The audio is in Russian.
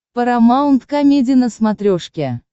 парамаунт комеди на смотрешке